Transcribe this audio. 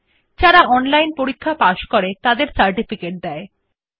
যারা অনলাইন পরীক্ষা পাস করে তাদের সার্টিফিকেট দেয়